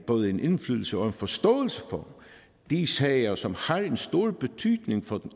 både en indflydelse og en forståelse for de sager som har en stor betydning for